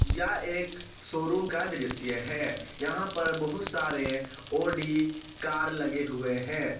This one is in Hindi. यह एक शोरूम का दृश्य है यहां पर बहुत सारे ऑडी कार लगे हुए हैं।